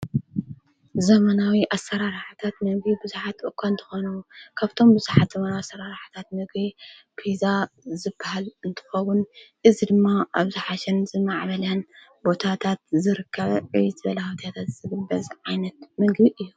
ዘመናዊ ኣሠራራሕታት ነጕ ብዙኃት በኳ እንተኾነዉ ካብቶም ብዙሓት ዘመናዊ ኣሠራርሕታት ነጐ ፊዛ ዝብሃል እንትፍቡን እዝ ድማ ኣብዙሓሸን ዝማዕበላን ቦታታት ዝርካ ዕትበላሁትትት ዘግበዘ ዓይነት ምግድ እዩ።